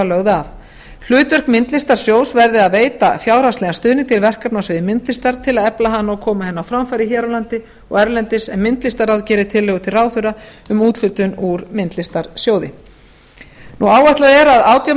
lögð af hlutverk myndlistarsjóðs verði að veita fjárhagslegan stuðning til verkefna á sviði myndlistar til að efla hana og koma henni á framfæri hér á landi og erlendis en myndlistarráð gerir tillögu til ráðherra um úthlutun úr myndlistarsjóði áætlað er að átján